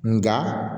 Nka